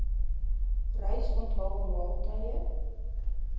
reis onthaal maaltye